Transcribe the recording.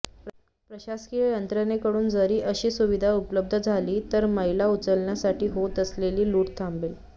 प्रशासकीय यंत्रणेकडून जर अशी सुविधा उपलब्ध झाली तर मैला उचलण्यासाठी होत असलेली लूट थांबेल